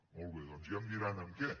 molt bé doncs ja em diran en què